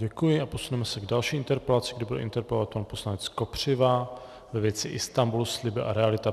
Děkuji a posuneme se k další interpelaci, kdy bude interpelovat pan poslanec Kopřiva ve věci Istanbul - sliby a realita.